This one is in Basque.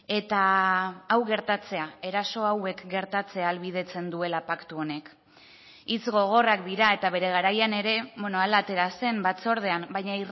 eta hau gertatzea eraso hauek gertatzea ahalbidetzen duela paktu honek hitz gogorrak dira eta bere garaian ere hala atera zen batzordean baina